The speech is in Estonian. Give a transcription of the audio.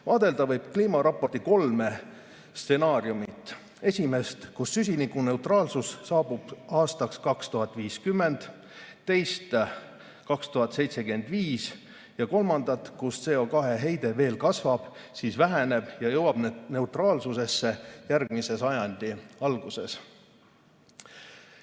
Vaadelda võib kliimaraporti kolme stsenaariumi: esimest, mille järgi süsinikuneutraalsus saabub aastaks 2050, teist, 2075, ja kolmandat, mille järgi CO2 heide veel kasvab, siis väheneb ja jõuab neutraalsusesse järgmise sajandi alguses.